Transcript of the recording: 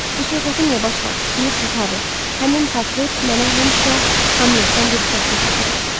Bu söhbəti niyə başladız, bilirsiz Harry, həmin portret mənə həmişə Hamletdən bir sətri xatırladıb.